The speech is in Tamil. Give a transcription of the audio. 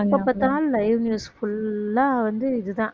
எப்ப பார்த்தாலும் live news full ஆ வந்து இதுதான்